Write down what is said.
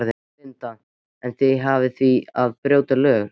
Linda: En þið hafnið því að brjóta lög?